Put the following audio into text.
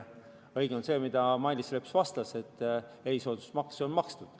Õige on see, mida Mailis Reps vastas, et erisoodustusmaks on makstud.